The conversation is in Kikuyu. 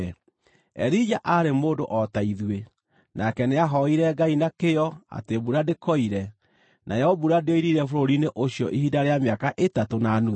Elija aarĩ mũndũ o ta ithuĩ. Nake nĩahooire Ngai na kĩyo atĩ mbura ndĩkoire, nayo mbura ndĩoirire bũrũri-inĩ ũcio ihinda rĩa mĩaka ĩtatũ na nuthu.